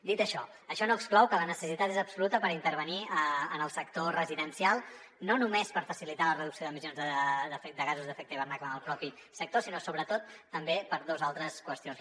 dit això això no exclou que la necessitat és absoluta per intervenir en el sector residencial no només per facilitar la reducció d’emissions de gasos d’efecte hivernacle en el propi sector sinó sobretot també per dos altres qüestions